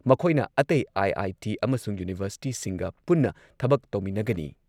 ꯃꯈꯣꯏꯅ ꯑꯇꯩ ꯑꯥꯏ.ꯑꯥꯏ.ꯇꯤ. ꯑꯃꯁꯨꯡ ꯌꯨꯅꯤꯚꯔꯁꯤꯇꯤꯁꯤꯡꯒ ꯄꯨꯟꯅ ꯊꯕꯛ ꯇꯧꯃꯤꯟꯅꯒꯅꯤ ꯫